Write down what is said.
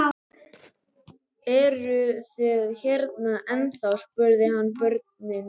Eruð þið hérna ennþá? spurði hann börnin.